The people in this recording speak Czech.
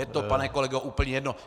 Je to pane kolego úplně jedno.